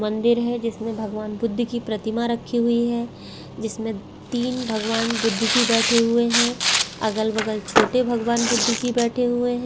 मंदिर है जिसमे भगवान बुबुद्ध की प्रतिमा रखी हुयी है जिसमे तीन भगवान बुध्द जी बैठे हुए है अगल बगल छोटे भगवान बुध्द जी बैठे हुए है।